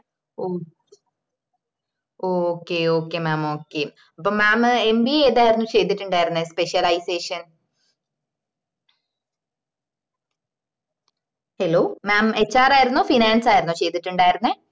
ഓഹ് okay okay mam okay അപ്പൊ mamba ഏതായർന്നു ചെയ്‌തിട്ടുണ്ടായിരുന്നേ specialisation hello മാം HR ആയിരുന്നോ finance ആണോ ചെയ്‌തിട്ടുണ്ടായർന്നേ